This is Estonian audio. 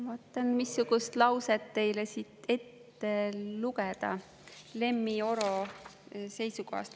Vaatan, missugust lauset teile siit ette lugeda Lemmi Oro seisukohast.